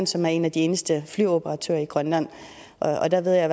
som er en af de eneste flyoperatører i grønland og der ved jeg